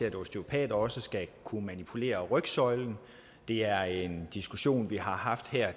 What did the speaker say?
at osteopater også skal kunne manipulere rygsøjlen det er en diskussion vi har haft